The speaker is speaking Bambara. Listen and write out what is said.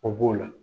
O b'o la